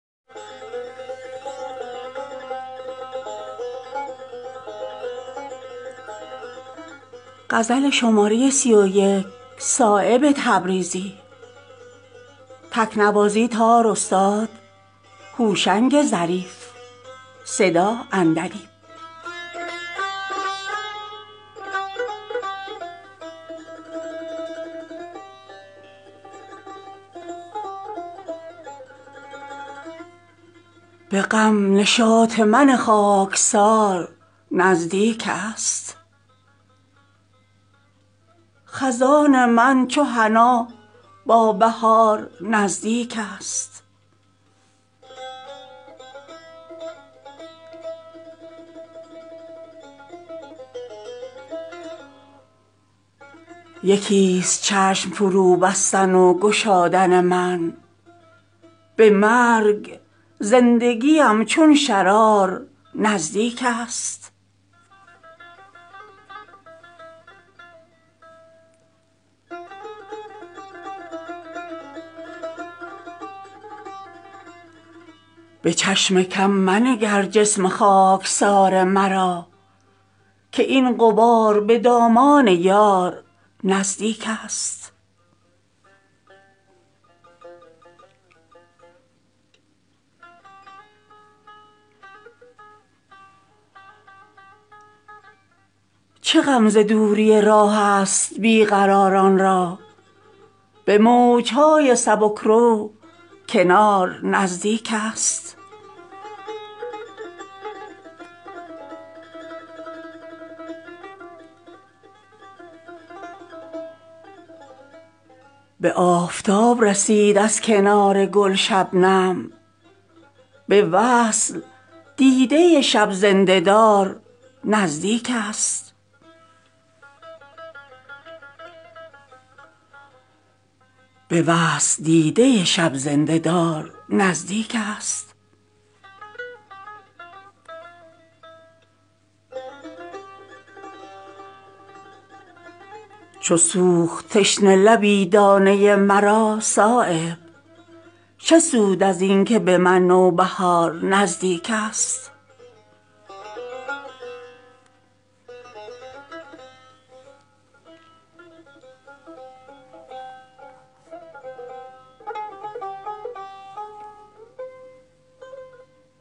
به غم نشاط من خاکسار نزدیک است خزان من چو حنا با بهار نزدیک است یکی است چشم فرو بستن و گشادن من به مرگ زندگیم چون شرار نزدیک است به چشم کم منگر جسم خاکسار مرا که این غبار به دامان یار نزدیک است چه غم ز دوری راه است بیقراران را به موجهای سبکرو کنار نزدیک است به آفتاب رسید از کنار گل شبنم به وصل دیده شب زنده دار نزدیک است ز یاسمین تو بوی بنفشه می شنوم مگر دمیدن خط زان عذار نزدیک است شود به دور خط امید وصل روزافزون به صبحدم شب فصل بهار نزدیک است به خون من مشو آلوده کز کهنسالی به سوختن جگرم چون چنار نزدیک است چو سوخت تشنه لبی دانه مرا صایب چه سود ازین که به من نوبهار نزدیک است